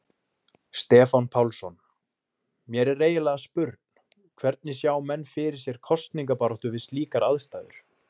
Stefán Pálsson: Mér er eiginlega spurn, hvernig sjá menn fyrir sér kosningabaráttu við slíkar aðstæður?